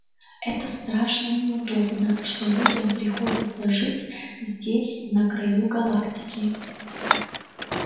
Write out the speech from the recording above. это страшно неудобно что людям приходится жить здесь на краю галактики